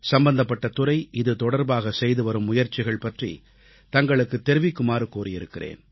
சம்பந்தப்பட்ட துறை இது தொடர்பாக செய்துவரும் முயற்சிகள் பற்றித் தங்களுக்குத் தெரிவிக்குமாறு கூறியிருக்கிறேன்